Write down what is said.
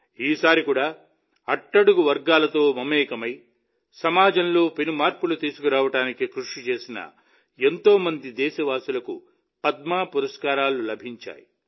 ఈసారి కూడా అట్టడుగు వర్గాలతో మమేకమై సమాజంలో పెనుమార్పులు తీసుకురావడానికి కృషి చేసిన ఎంతోమంది దేశవాసులకు పద్మ పురస్కారాలు లభించాయి